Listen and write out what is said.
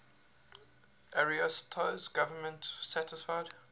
ariosto's government satisfied